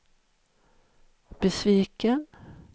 besviken